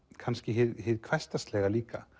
kannski hið hversdagslega líka